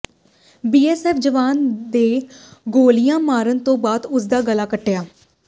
BSF ਜਵਾਨ ਦੇ ਗੋਲੀਆਂ ਮਾਰਨ ਤੋਂ ਬਾਅਦ ਉਸਦਾ ਗਲਾ ਕੱਟਿਆ